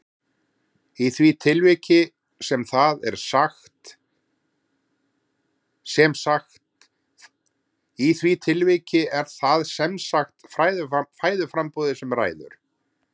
Í því tilviki er það sem sagt fæðuframboðið sem ræður.